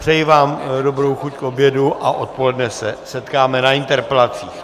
Přeji vám dobrou chuť k obědu a odpoledne se setkáme na interpelacích.